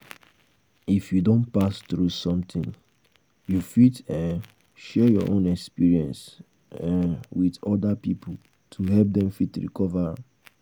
If you don pass throug something you fit um share you own experience um with oda pipo to help dem fit recover um